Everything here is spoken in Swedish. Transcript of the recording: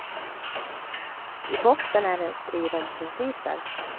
I botten är det en strid om principer.